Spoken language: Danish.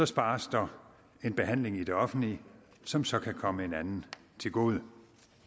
spares der en behandling i det offentlige som så kan komme en anden til gode